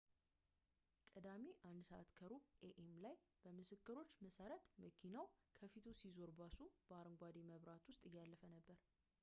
ቅዳሜ 1:15 ኤ.ኤም ላይ በምስክሮች መሠረት መኪናው ከፊቱ ሲዞር ባሱ በአረንጓዴ መብራት ውስጥ እያለፈ ነበር